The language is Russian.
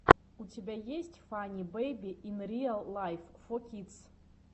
у тебя есть фанни бэйби ин риал лайф фо кидс